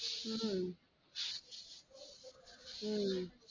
உம் உம்